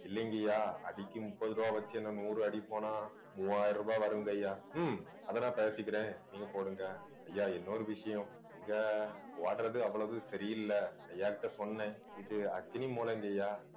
இல்லைங்கய்யா அடி முப்பது ரூபாய் வச்சு என்னை நூறு அடி போனா மூவாயிரம் ரூபாய் வரும்ங்கய்யா ஹம் அதை நான் தயாரிச்சுக்கிறேன் நீங்க போடுங்க ஐயா இன்னொரு விஷயம் இங்க ஓடுறது அவ்வளவு சரியில்லை ஐயாகிட்ட சொன்னேன் இது அக்னி மூலைங்கய்யா